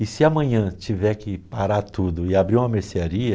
E se amanhã tiver que parar tudo e abrir uma mercearia...